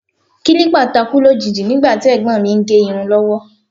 Kílípà takú lójijì nígbà tí ẹ̀gbọ́n mi ń gẹ irun lọ́wọ́